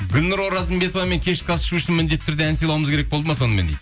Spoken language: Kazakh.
гүлнұр оразымбетовамен кешкі ас ішу үшін міндетті түрде ән сыйлауымыз керек болды ма сонымен дейді